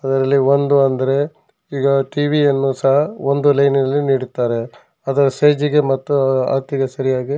ಇದರಲ್ಲಿ ಒಂದು ಅಂದ್ರೆ ಈಗ ಟಿ ವಿ ಯನ್ನು ಸಹ ಒಂದು ಲೈನಿನಲ್ಲಿ ನೀಡುತ್ತಾರೆ ಅದರ ಸೈಜ್ ಗೆ ಮತ್ತು ಅಳತೆಗೆ ಸರಿ ಆಗಿ --